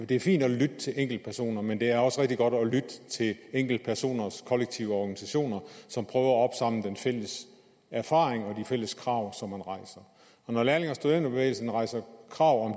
det er fint at lytte til enkeltpersoner men det er også rigtig godt at lytte til enkeltpersoners kollektive organisationer som prøver at opsamle den fælles erfaring og de fælles krav som man rejser når lærlinge og studenterbevægelsen rejser krav om